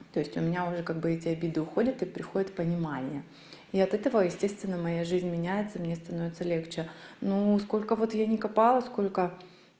то есть у меня уже как бы эти обиды уходят и приходит понимание и от этого естественно моя жизни меняется и мне становится легче ну сколько вот я не копала сколько